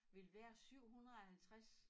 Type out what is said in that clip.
Vil være 750